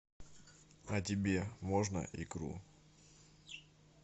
а тебе можно икру